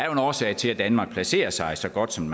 en årsag til at danmark placerer sig så godt som